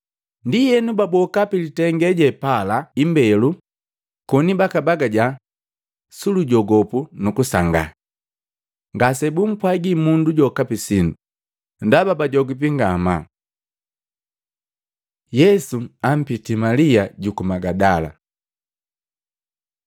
Ndienu, baboka pi litenge je pala imbelo, koni bakabagaja sulujogopu nukusangaa. Ngasebumpwagi mundu jokapi sindu, ndaba bajogipi ngamaa. Yesu ampitii Malia juku Magadala Matei 28:9-10; Yohana 20:11-18